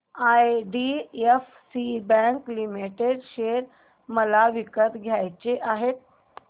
IDFC bank limited share मला विकत घ्यायचे आहेत